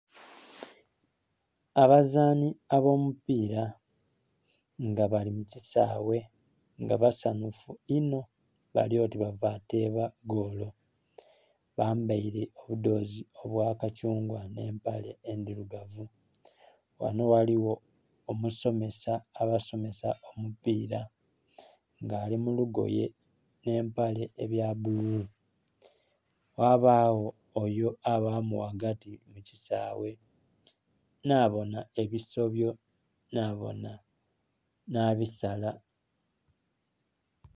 Abazanhi abo mu pira nga bali mu kisaghe nga basanhufu inho bali oti bava kutema goolo, bambaire omudhozi obwa kathungwa nhe empale endhirugavu. Ghano ghaligho omusomesa abasomesa omupira nga ali mu lugoye nhe empale ebya bululu. Ghabagho ayo abami ghagati mu kisaaghe nha bonha ebisobyo nha bisala.